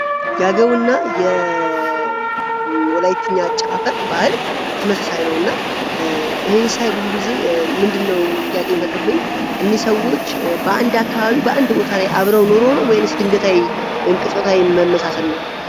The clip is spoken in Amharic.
የአገውና የወላይትኛ አጨፋፈር ባህል ተመሳሳይ ነው እና ብዙ ጊዜ ይህንን ምንድነው የሚፈጥርብኝ እነዚህ ሰዎች በአንድ አካባቢ አንድ ላይ ኑሮ ነው ወይስ የተለያየ ቅጽበታዊ መመሳሰል ነው?